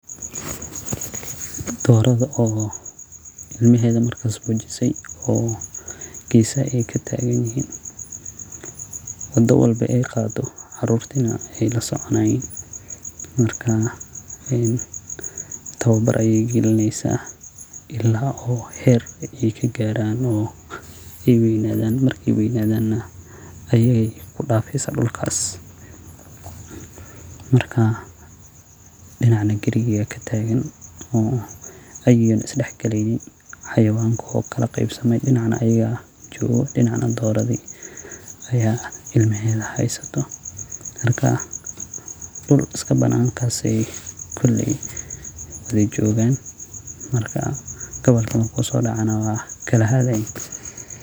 Dooradha oo ilamaheda marka bajisey oo geesaha ey kataagan yihin wado walbo ey qado caruuti neh lasoconayin marka towbar ayeey galineysa ilaa uu heer ay kagaraan oo ey weynadhan marka ey weynadhan neh iyaga eyee kudafesa dulka marka dinaca neh garigi ayaa kataagan oo eyna isdaxgaleynin. Xayawaanki uu kalaqeybsame dinaca neh garigi ayaa joogo dinaca neh doorodhi ayaa ilmaheedhi haysato marka dul uskabanaankasi ayee jogaan marka gabalka marku sodaca neh wey kalaharayaan.